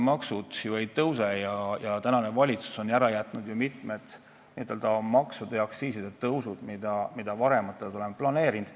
Maksud tõesti ei tõuse, valitsus on ju ära jätnud mitu maksu- ja aktsiisitõusu, mida olime varem planeerinud.